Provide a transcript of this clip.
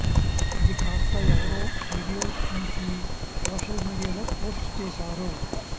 అది కాస్త ఎవరో వీడియో తీసి సోషల్ మీడియాలో పోస్ట్ చేశారు